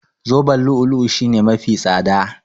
Zoben lu'u-lu'u shine mafi tsada.